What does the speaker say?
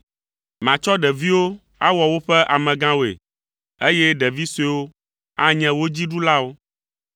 Matsɔ ɖeviwo awɔ woƒe amegãwoe, eye ɖevi suewo anye wo dzi ɖulawo.